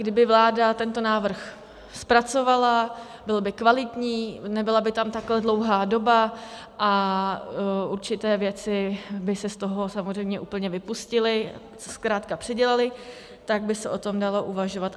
Kdyby vláda tento návrh zpracovala, byl by kvalitní, nebyla by tam takhle dlouhá doba a určité věci by se z toho samozřejmě úplně vypustily, zkrátka předělaly, tak by se o tom dalo uvažovat.